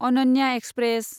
Ananya express